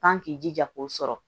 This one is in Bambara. Pan k'i jija k'o sɔrɔ